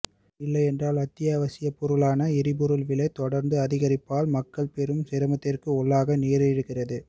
இல்லை என்றால் அத்தியாவசிய பொருளான எரிபொருள் விலை தொடர் அதிகரிப்பால் மக்கள் பெரும் சிரமத்திற்கு உள்ளாக நேரிடுகிறது